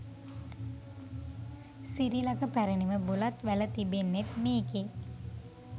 සිරිලක පැරැණිම බුලත් වැල තිබෙන්නෙත් මේකේ.